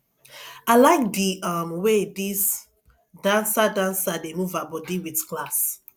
i like the um way dis dancer dancer dey move her body with class